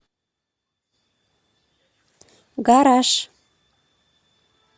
гараж